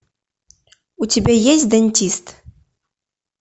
у тебя есть дантист